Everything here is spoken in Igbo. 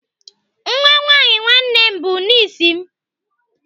Nwa nwaanyị nwanne m bụ nis m.